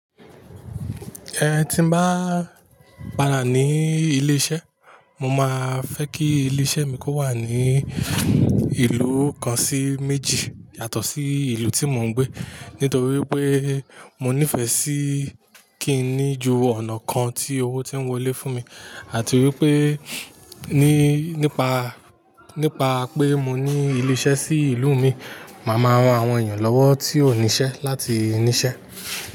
Ẹ̀ tí n bá padà ní ilé iṣẹ́, mo máa fẹ́ kí ilé iṣẹ́ mi kó wà ní ìlú kan sí méjì yàtọ̀ sí ìlú tí mo ń gbé. Nítorí pé mo nífẹ̀ẹ́ sí kí n ní ju ọ̀nà kan tí owó tí ń wọlé fún mi, àti wípé ní nípa nípa pé mo ní ilé iṣẹ́ sí ìlú mi, màá máa ran àwọn èèyàn lọ́wọ́ tí ò níṣẹ́ láti níṣẹ́.